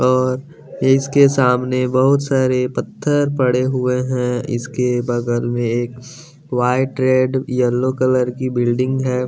और इसके सामने बहुत सारे पत्थर पड़े हुए हैं इसके बगल में एक वाइट रेड येलो कलर की बिल्डिंग है।